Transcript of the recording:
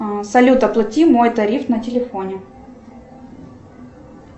салют оплати мой тариф на телефоне